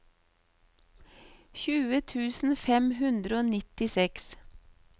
tjue tusen fem hundre og nittiseks